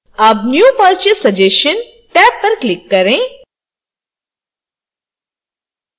tab new purchase suggestionटैब पर click करें